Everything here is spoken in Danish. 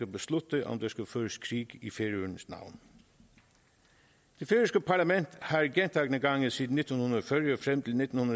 beslutte om der skal føres krig i færøernes navn det færøske parlament har gentagne gange siden nitten